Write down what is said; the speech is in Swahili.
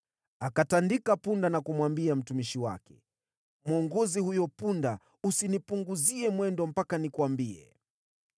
Akatandika punda na kumwambia mtumishi wake, “Mwongoze huyo punda. Usinipunguzie mwendo mpaka nikuambie.”